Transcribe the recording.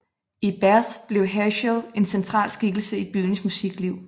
I Bath blev Herschel en central skikkelse i byens musikliv